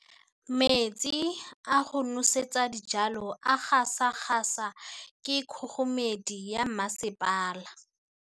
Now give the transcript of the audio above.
Metsi a go nosetsa dijalo a gasa gasa ke kgogomedi ya masepala.